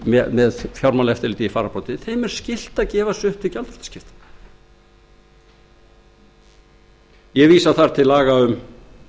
að gefa sig upp til gjaldþrotaskipta þrátt fyrir þær breytingar sem frumvarpið boðar vísast þar meðal annars til laga um